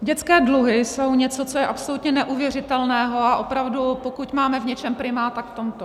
Dětské dluhy jsou něco, co je absolutně neuvěřitelného, a opravdu pokud máme v něčem primát, tak v tomto.